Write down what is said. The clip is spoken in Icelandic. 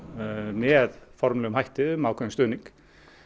með formlegum hætti um ákveðinn stuðning